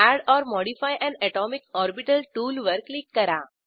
add or modify an atomic orbital टूलवर click करा